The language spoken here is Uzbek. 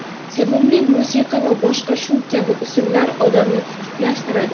sevimli musiqa va boshqa shu kabi usullar odamni tetiklashtiradi.